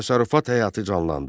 Təsərrüfat həyatı canlandı.